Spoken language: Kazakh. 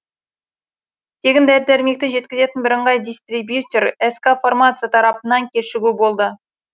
тегін дәрі дәрмекті жеткізетін бірыңғай дистрибьютор ск фармация тарапынан кешігу болды